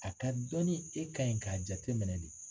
A ka dɔnni e kan ɲi k'a jateminɛ de.